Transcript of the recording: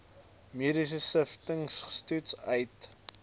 mediese siftingstoetse uit